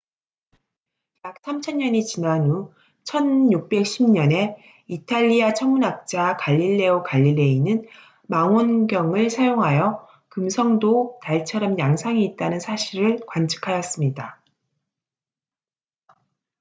약 3천년이 지난 후 1610년에 이탈리아 천문학자 갈릴레오 갈릴레이는 망원경을 사용하여 금성도 달처럼 양상이 있다는 사실을 관측하였습니다